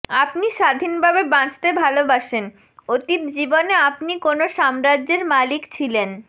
আপনি স্বাধীনভাবে বাঁচতে ভালোবাসেন অতীত জীবনে আপনি কোনও সাম্রাজ্যের মালিক ছিলেন